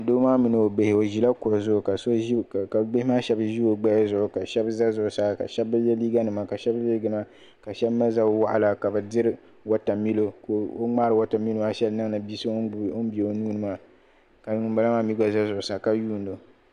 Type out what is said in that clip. Doo maa mini ɔ bihi ɔzila. kuɣu zuɣu. kabihimaa shabi zi ɔ gbaya zuɣu. ka. shab za zuɣu saa. ka. shab bi ye. liiga nima ka. shab ye liiga nima. ka. shab mali. zab waɣila. kabɛdiri Water milio ka ɔmŋaari Water milio maa n niŋdi ŋum be ɔnuuni maa ka ŋum bala maa. mi gba za zuɣusaa ka yuunɔ